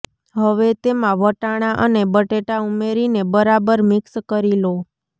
હવે તેમા વટાણા અને બટેટા ઉમેરીને બરાબર મિક્સ કરી લો